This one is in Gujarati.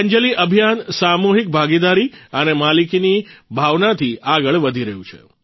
વિદ્યાંજલી અભિયાન સામુહિક ભાગીદારી અને માલિકીની ભાવનાથી આગળ વધી રહ્યું છે